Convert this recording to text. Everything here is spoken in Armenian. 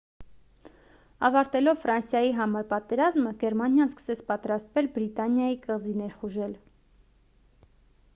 ավարտելով ֆրանսիայի համար պատերազմը գերմանիան սկսեց պատրաստվել բրիտանիայի կղզի ներխուժել